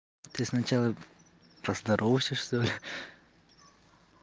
ты сначала поздоровайся что ли